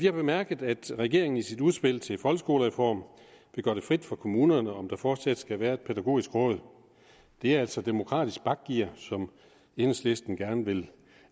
har bemærket at regeringen i sit udspil til folkeskolereform vil gøre det frit for kommunerne om der fortsat skal være et pædagogisk råd det er altså demokratisk bakgear som enhedslisten gerne vil